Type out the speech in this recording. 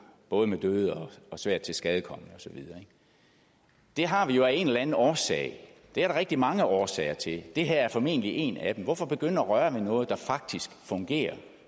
både med døde og med svært tilskadekomne og så videre det har vi jo af en eller anden årsag og det er der rigtig mange årsager til det her er formentlig en af dem hvorfor begynde at røre ved noget der faktisk fungerer